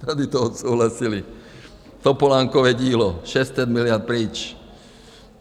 Tady to odsouhlasili, Topolánkovo dílo, 600 miliard pryč.